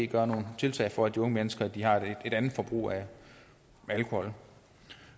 gøre nogle tiltag for at de unge mennesker har et andet forbrug af alkohol